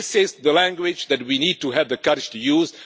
This is the language that we need to have the courage to use.